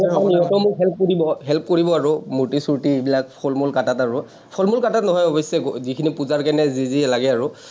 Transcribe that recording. সিহঁতে মোক help কৰিব help কৰিব আৰু মূৰ্তি-চুৰ্তি এইবিলাক, ফল-মূল কাটাত আৰু, ফল-মূল কাটাত নহয় অৱশ্যে, যিখিনি পূজাৰ কাৰণে যি যি লাগে আৰু ।